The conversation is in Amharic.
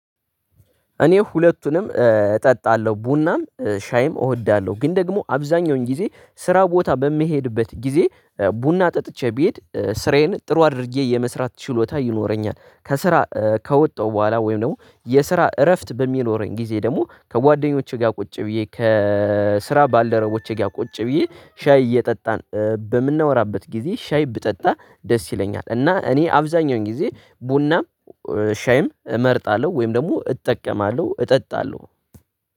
እኔ ሁለቱንም እጠጣለሁ። ቡናም፤ ሻይም እወዳለሁ። ግን ደግሞ አብዛኛውን ጊዜ ስራ ቦታ በሚሄድበት ጊዜ ቡና ጠጥቼ ቢሄድ ስራዬን ጥሩ አድርጌ የመስራት ችሎታ ይኖረኛል። ከስራ ከወጣሁ በኋላ፤ ወይም ደግሞ የስራ እረፍት በሚኖረኝ ጊዜ ደግሞ፤ ከጓደኞቼ ጋር ቁጭ ብዬ፤ ከስራ ባልደረቦቼ ጋር ቁጭ ብዬ ሻይ እየጠጣን በምናወራበት ጊዜ ሻይ ብጠጣ ደስ ይለኛል። እና እኔ አብዛኛውኝ ጊዜ ቡናም ሻይም እመርጣለሁ ወይም ደግሞ እጠቀማለሁ እጠጣለሁ።